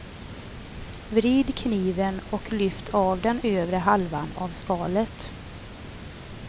Vrid kniven och lyft av den övre halvan av skalet.